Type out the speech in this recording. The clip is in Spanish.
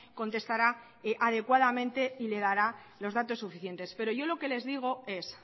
contestará adecuadamente y les dará los datos suficientes pero yo lo que les digo es